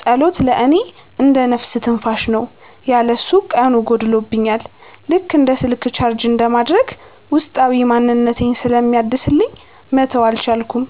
ጸሎት ለእኔ እንደ "ነፍስ ትንፋሽ" ነው። ያለ እሱ ቀኑ ጎድሎብኛል፤ ልክ እንደ ስልክ ቻርጅ እንደማድረግ ውስጣዊ ማንነቴን ስለሚያድስልኝ መተው አልቻልኩም።